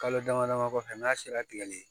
Kalo dama dama kɔfɛ n'a sera tigɛli